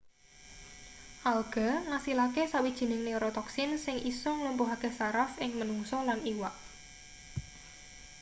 alga ngasilake sawijining neorotoxin sing isa nglumpuhake saraf ing menungsa lan iwak